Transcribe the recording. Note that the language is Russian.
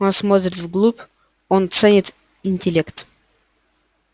он смотрит вглубь он ценит интеллект